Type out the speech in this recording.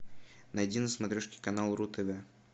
найди на смотрешке канал ру тв